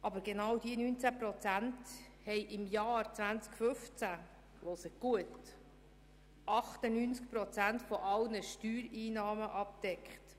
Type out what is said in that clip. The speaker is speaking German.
Aber genau diese 19 Prozent haben im Jahr 2015 – hören Sie gut zu – 98 Prozent aller Steuereinnahmen abgedeckt.